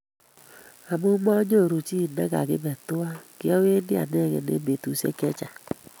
Amu mayoru chi negagibe tuwai, kyawendi anegei eng betushiek chechang